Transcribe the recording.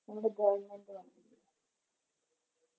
നമ്മുടെ Government കണ്ടില്ലേ